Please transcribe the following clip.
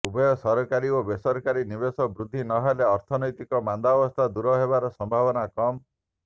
ଉଭୟ ସରକାରୀ ଓ ବେସରକାରୀ ନିବେଶରେ ବୃଦ୍ଧି ନ ହେଲେ ଅର୍ଥନୀତିକ ମାନ୍ଦାବସ୍ଥା ଦୂର ହେବାର ସମ୍ଭାବନା କମ୍